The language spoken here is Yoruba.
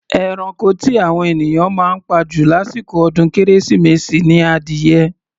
Eranko tí àwọn ènìyàn máa ń pa jù lásìkò ọdún kérésìmesì ni adìyẹ.